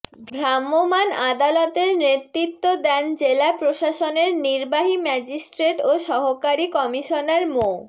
ভ্রাম্যমাণ আদালতের নেতৃত্ব দেন জেলা প্রশাসনের নির্বাহী ম্যাজিস্ট্রেট ও সহকারী কমিশনার মো